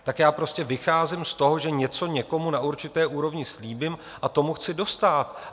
Tak já prostě vycházím z toho, že něco někomu na určité úrovni slíbím a tomu chci dostát.